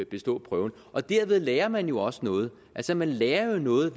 bestå prøven og derved lærer man jo også noget altså man lærer jo noget